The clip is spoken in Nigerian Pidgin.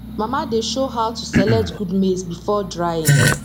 mama dey show how to select good maize before drying